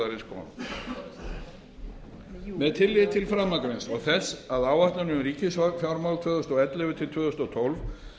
niðurskurðarins kom með tilliti til framangreinds og þess að áætlun um ríkisfjármál tvö þúsund og ellefu til tvö þúsund og tólf